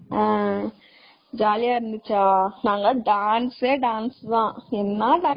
ஆ ஜாலியா இருந்துச்சா.நாங்க எல்லாம் dance யே dance தான்.